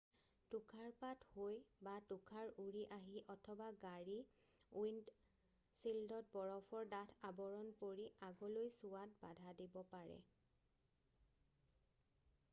তুষাৰপাত হৈ বা তুষাৰ উৰি আহি অথবা গাড়ীৰ উইণ্ডশ্বিল্ডত বৰফৰ ডাঠ আৱৰণ পৰি আগলৈ চোৱাত বাধা দিব পাৰে